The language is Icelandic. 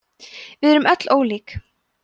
við erum öll ólík